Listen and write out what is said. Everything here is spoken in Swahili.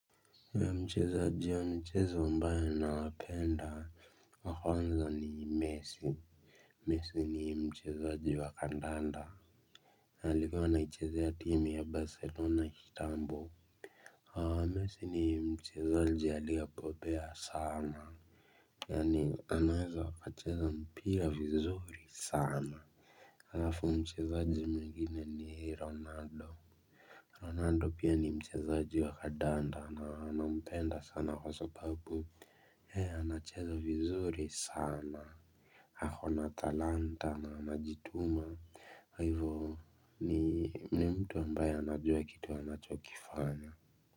Mchezaji wa mchezo ambaye nawapenda wa kwanza ni messi Messi ni mchezaji wa kandanda. Alikuwa anaichezea timu ya Barcelona kitambo messi ni mchezaji aliyebobea sana. Yaani anaweza akacheza mpira vizuri sana. Alafu mchezaji mwengine ni Ronaldo Ronaldo pia ni mchezaji wa kandanda na nampenda sana kwa sababu yeye anacheza vizuri sana. Ako na talanta na anajituma na hivo ni mtu ambaye anajua kitu anachokifanya.